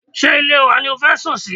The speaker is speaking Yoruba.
Ṣé ilé wa ni o fẹ́ sùn ni?